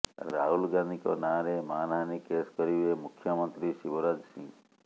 ରାହୁଲ ଗାନ୍ଧୀଙ୍କ ନାଁରେ ମାନହାନୀ କେସ୍ କରିବେ ମୁଖ୍ୟମନ୍ତ୍ରୀ ଶିବରାଜ ସିଂହ